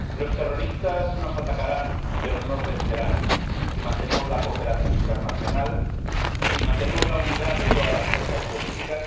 Señora Presidenta, los terroristas nos atacarán, pero no nos vencerán si mantenemos la cooperación internacional si mantenemos la unidad de todas las fuerzas políticas